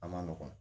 A ma nɔgɔn